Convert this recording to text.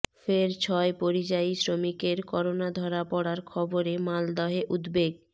ফের ছয় পরিযায়ী শ্রমিকের করোনা ধরা পড়ার খবরে মালদহে উদ্বেগ